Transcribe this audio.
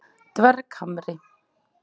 Dverghamri